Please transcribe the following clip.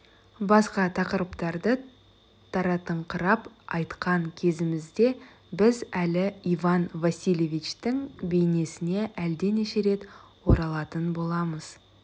басқа тақырыптарды таратыңқырап айтқан кезімізде біз әлі иван васильевичтің бейнесіне әлденеше рет оралатын боламыз